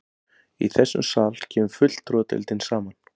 Í þessum sal kemur fulltrúadeildin saman.